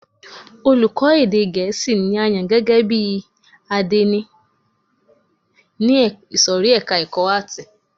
Olùkọ́ni èdè gẹ̀ẹ́sì ni a yàn gẹ́gẹ́ bí àdénì ní ìsòrí ẹka ẹ̀kọ́ àátì.